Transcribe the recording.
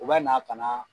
U bɛ na ka na